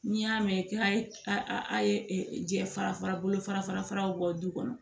N'i y'a mɛn k'a ye a ye jɛ fara fara bolo fara faraw bɔ du kɔnɔ